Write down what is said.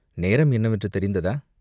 "நேரம் என்னவென்று தெரிந்ததா?